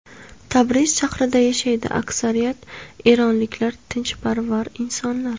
Tabriz shahrida yashaydi Aksariyat eronliklar tinchlikparvar insonlar.